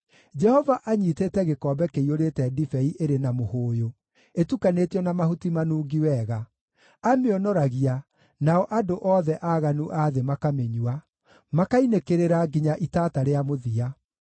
Jehova anyiitĩte gĩkombe kĩiyũrĩte ndibei ĩrĩ na mũhũũyũ, ĩtukanĩtio na mahuti manungi wega; amĩonoragia, nao andũ othe aaganu a thĩ makamĩnyua, makainĩkĩrĩra nginya itata rĩa mũthia.